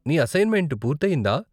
నీ అసైన్మెంట్ పూర్తి అయ్యిందా?